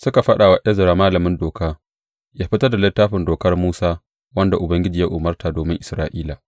Suka faɗa wa Ezra malamin Doka yă fitar da Littafin Dokar Musa, wanda Ubangiji ya umarta domin Isra’ila.